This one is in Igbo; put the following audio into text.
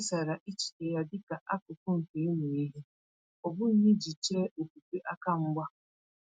O kesara echiche ya dịka akụkụ nke ịmụ ihe, ọ bụghị iji chee okwukwe aka mgba.